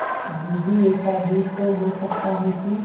दीदी ऐसा भी तो हो सकता है कि